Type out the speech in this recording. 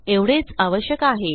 एवढेच आवश्यक आहे